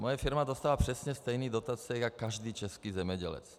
Moje firma dostává přesně stejné dotace jako každý český zemědělec.